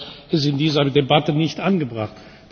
Ich finde, das ist in dieser Debatte nicht angebracht.